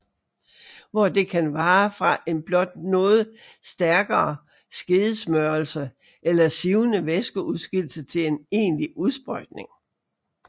Hvor det kan varer fra en blot noget stærkere skedesmørelse eller sivende væskeudskillelse til en egentlig udsprøjtning